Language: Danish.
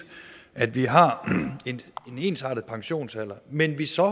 at vi har en ensartet pensionsalder men at vi så